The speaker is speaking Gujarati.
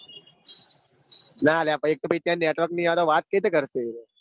ના લ્યા પાહિ એક તો પાહિ ત્યાં ની હરે વાત કેવી કરશે